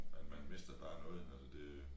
Man man mister bare noget når det det